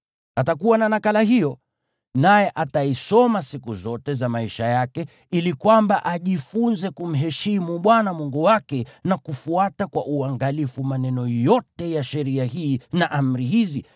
Atakuwa na nakala hiyo, naye ataisoma siku zote za maisha yake ili kwamba ajifunze kumheshimu Bwana Mungu wake na kufuata kwa uangalifu maneno yote ya sheria hii na amri hizi,